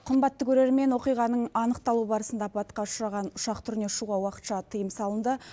қымбатты көрермен оқиғаның анықталу барысында апатқа ұшыраған ұшақ түріне ұшуға уақытша тыйым салынды